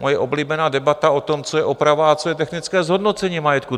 Moje oblíbená debata o tom, co je oprava a co je technické zhodnocení majetku.